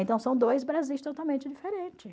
Então, são dois Brasis totalmente diferentes.